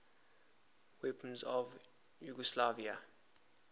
weapons of yugoslavia